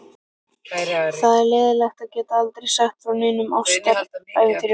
Það er leiðinlegt að geta aldrei sagt frá neinum ástarævintýrum.